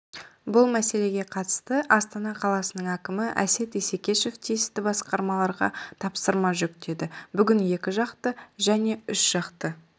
бұл мәселеге қатысты астана қаласының әкімі әсет исекешев тиісті басқармаларға тапсырма жүктеді бүгін екіжақты және үшжақты